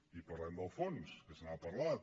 i parlem del fons que se n’ha parlat